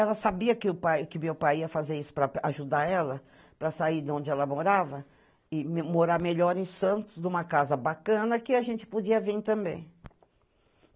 Ela sabia que o pai, que meu pai ia fazer isso para ajudar ela para sair de onde ela morava e morar melhor em Santos, numa casa bacana, que a gente podia vir também.